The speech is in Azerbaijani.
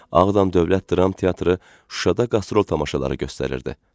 Ağdam Dövlət Dram Teatrı Şuşada qastrol tamaşaları göstərirdi.